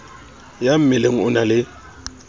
ya mmeleng o na le